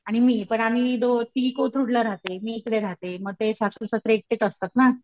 आणि मी पण आम्ही दो तिघी कोथरूडला रहाते मी इकडे रहाते म ते सासू सासरा एकटेच असतात ना .